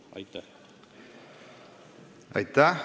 Aitäh!